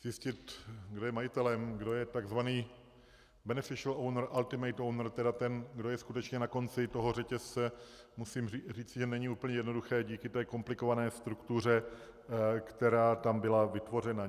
Zjistit, kdo je majitelem, kdo je tzv. beneficial owner, ultimate owner, tedy ten, kdo je skutečně na konci toho řetězce, musím říci, že není úplně jednoduché díky té komplikované struktuře, která tam byla vytvořena.